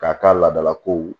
K'a ka ladalakow